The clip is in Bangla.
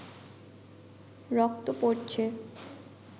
রক্ত পড়ছে